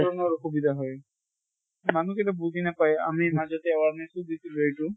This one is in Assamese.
বৰ অসুবিধা হয়। মানুহ কেইটা বুজি নাপায়, আমি মাজতে awareness ও দিছিলো এইটো